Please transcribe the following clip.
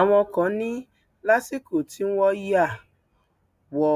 àwọn kan ní lásìkò tí wọn ya wọ